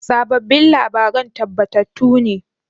Sabobbin labaran tabbatattu ne?